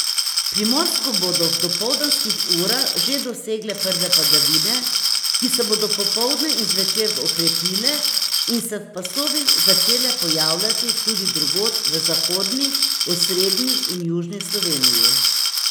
Primorsko bodo v dopoldanskih urah že dosegle prve padavine, ki se bodo popoldne in zvečer okrepile in se v pasovih začele pojavljati tudi drugod v zahodni, osrednji in južni Sloveniji.